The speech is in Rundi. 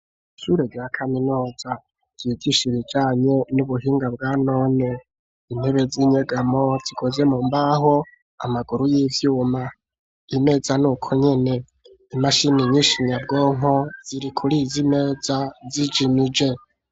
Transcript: Ishure rya kaminuza ryigisha ibijanye n'ubuhinga bwa none. Intebe z'inyegamo zikoze mu mbaho, amaguru y'ivyuma. Imeza ni uko nyene. Imashini nyinshi nyabwonko ziri kuri izi meza, zijimije.